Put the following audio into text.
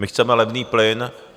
My chceme levný plyn.